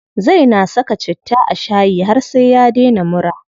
Zai na saka citta a shayi har sai ya daina mura.